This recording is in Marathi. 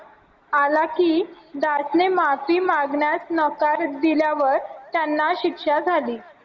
आला की ने माफी मागण्यास नकार दिल्यावर त्यांना शिक्षा झाली